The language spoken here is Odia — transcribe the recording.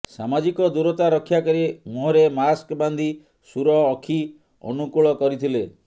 ସାମାଜିକ ଦୂରତା ରକ୍ଷା କରି ମୁହଁରେ ମାସ୍କ ବାନ୍ଧି ସୁର ଅଖି ଅନୁକୁଳ କରିଥିଲେ